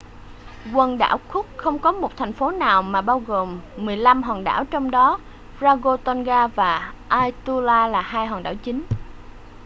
quần đảo cook không có một thành phố nào mà bao gồm 15 hòn đảo trong đó rarotonga và aituta là hai hòn đảo chính